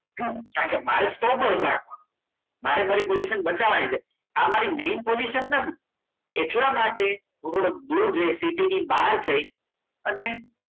કારણ કે મારે સ્ટોક નાખો. મારે મારી position બતાવવાની છે આ મારી main position નથી એટલા માટે હુ થોડો દુર જૈ સિટીની બહાર જે અને